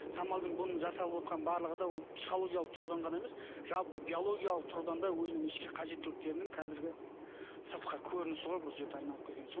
самалдың бұның жасап отқан барлығы да ол психологиялық тұрғыдан ғана емес жалпы биологиялық тұрғыдан да өзінің ішкі қажеттіліктерінің қазіргі сыртқы көрінісі ғой бұл жерде айналып келген соң